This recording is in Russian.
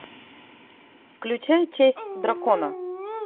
включай честь дракона